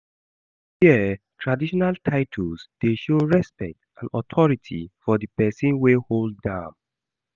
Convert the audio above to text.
Here traditional titles dey show respect and authority of di pesin wey hold am.